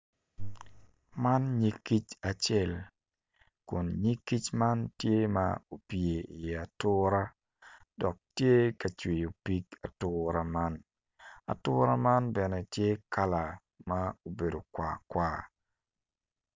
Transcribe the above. Man nyig kic acel kun nyig kic man tye opye iye atura dok tye cwiyo pig atura man atura man bene tye kala ma obedo kwar kwar